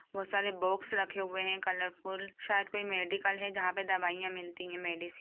बहुत सारे बॉक्स रखे हुए हैं कलरफुल शायद कोई मेडिकल है जहाँ पे दवाइयाँ मिलती हैं मेडिसन ।